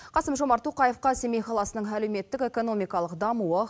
қасым жомарт тоқаевқа семей қаласының әлеуметтік экономикалық дамуы